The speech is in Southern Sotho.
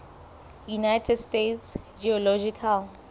united states geological